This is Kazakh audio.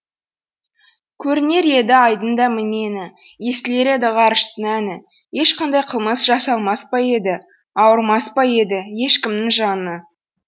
көрінер еді айдың да мнені естілер еді ғарыштың әні ешқандай қылмыс жасалмас па еді ауырмас па еді ешкімнің жаны